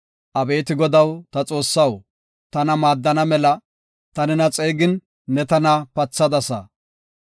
Abeeti Godaw, ta Xoossaw tana maaddana mela, ta nena xeegin ne tana pathadasa.